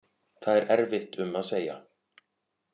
Það er erfitt um að segja